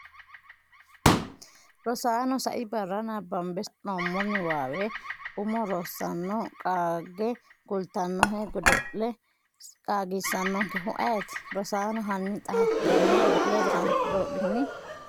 Rosaano, sai barra nabbambe sa’noommo niwaawe umo Rosaano qaagge kultannohe godo’le qaagisannonkehu ayeeti? Rosaano, hanni xa hattenne godo’le Rosaano doodhitini?